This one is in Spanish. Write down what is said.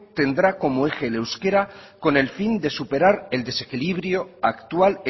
tendrá como eje el euskera con el fin de superar el desequilibrio actual